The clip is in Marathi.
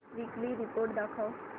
वीकली रिपोर्ट दाखव